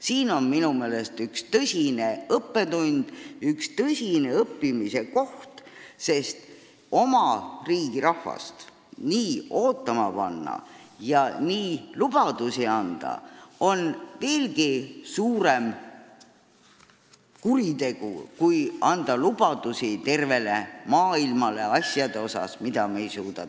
See on minu meelest üks tõsine õppetund, üks tõsine õppimise koht, sest nii oma riigi rahvast ootama panna ja nii lubadusi anda on veelgi suurem kuritegu kui anda lubadusi tervele maailmale asjade kohta, mida me täita ei suuda.